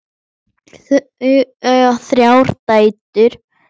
Þau eiga þrjár dætur.